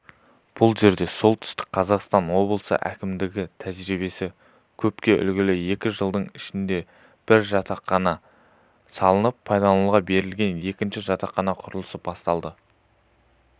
бұл жерде солтүстік қазақстан облысы әкімдігінің тәжірибесі көпке үлгі екі жылдың ішінде бір жатақхана салынып пайдалануға берілген екінші жатақхана құрылысы басталды